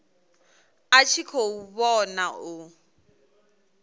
a tshi khou vhona u